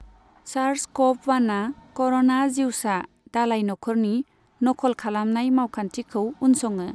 सार्स CoV वानआ corona जिउसा दालाइ नखरनि नखल खालामनाय मावखान्थिखौ उनसङो।